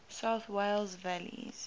south wales valleys